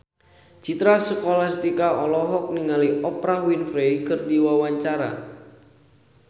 Citra Scholastika olohok ningali Oprah Winfrey keur diwawancara